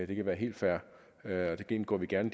det kan være helt fair indgår vi gerne